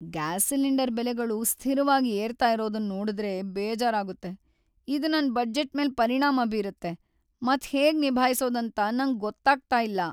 Gas cylinder ಬೆಲೆಗಳು ಸ್ಥಿರವಾಗ್ ಏರ್ತಾ ಇರೋದನ್ ನೋಡುದ್ರೆ ಬೇಜಾರಾಗುತ್ತೆ. ಇದ್ ನನ್ ಬಜೆಟ್ ಮೇಲ್ ಪರಿಣಾಮ ಬೀರುತ್ತೆ, ಮತ್ ಹೇಗ್ ನಿಭಾಯಿಸೋದ್ ಅಂತ ನಂಗ್ ಗೊತ್ತಾಗ್ತಾ ಇಲ್ಲ.